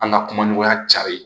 An ka kuma ɲɔgɔnya cari